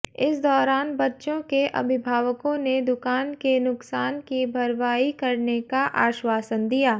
इस दौरान बच्चों के अभिभावकों ने दूकान के नुकसान की भरवाई करने का आश्वासन दिया